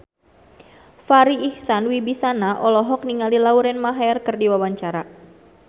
Farri Icksan Wibisana olohok ningali Lauren Maher keur diwawancara